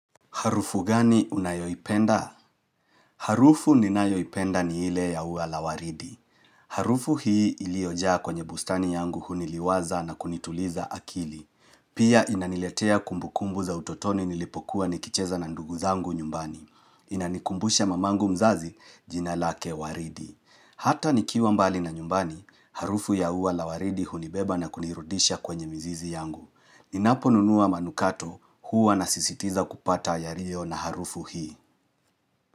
Harufu gani unayoipenda? Harufu ninayoipenda ni ile ya ua la waridi. Harufu hii iliojaa kwenye bustani yangu huniliwaza na kunituliza akili. Pia inaniletea kumbukumbu za utotoni nilipokuwa nikicheza na ndugu zangu nyumbani. Inanikumbusha mamangu mzazi jina lake waridi. Hata nikiwa mbali na nyumbani, harufu ya ua la waridi hunibeba na kunirudisha kwenye mzizi yangu. Ninapo nunua manukato huwa nasisitiza kupata yaliyo na harufu hii.